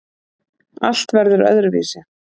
Allt verður öðruvísi.